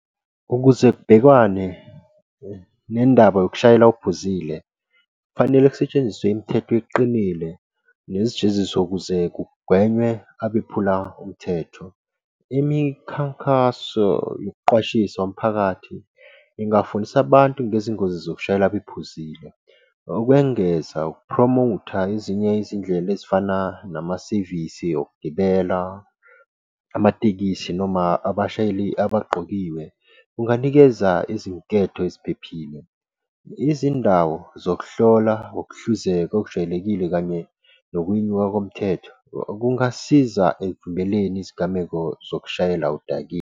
Ukuze kubhekwane nendaba yokushayela uphuzile, kufanele kusetshenziswe imithetho eqinile nezijeziso ukuze kugwenywe abephula umthetho. Imikhankaso yokuqwashisa umphakathi ingafundisa abantu ngezingozi zokushayela bephuzile. Ukwengeza ukupromotha ezinye izindlela ezifana namasevisi okugibela amatekisi noma abashayeli abaqokiwe. Kunganikeza izinketho eziphephile, izindawo zokuhlola, ngokuhluzeka okujwayelekile, kanye nokwenyuka komthetho, kungasiza ekuvikeleni izigameko zokushayela udakiwe.